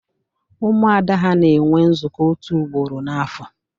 Umuada ha na enwe nzuko otu ugboro n'afo